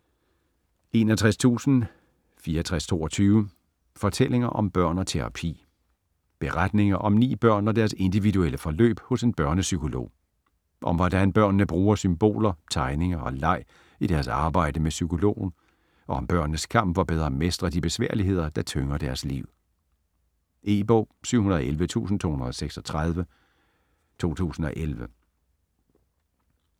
61.6422 Fortællinger om børn og terapi Beretninger om ni børn og deres individuelle forløb hos en børnepsykolog. Om hvordan børnene bruger symboler, tegninger og leg i deres arbejde med psykologen og om børnenes kamp for bedre at mestre de besværligheder, der tynger deres liv. E-bog 711236 2011.